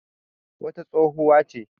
wata tsohuwa ce